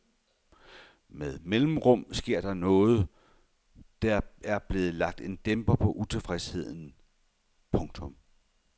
Med mellemrum sker der nogetDer blev lagt en dæmper på utilfredsheden. punktum